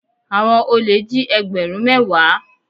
Àwọn olè jí egberun mẹ́wàá.